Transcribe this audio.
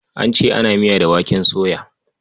An ce ana ana miya da waken soya.